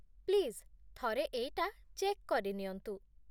Please, ଥରେ ଏଇଟା check କରିନିଅନ୍ତୁ ।